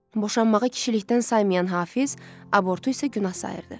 Boşanmağı kişilikdən saymayan Hafiz, abortu isə günah sayırdı.